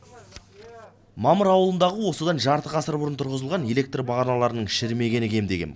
мамыр ауылындағы осыдан жарты ғасыр бұрын тұрғызылған электр бағаналарының шірімегені кемде кем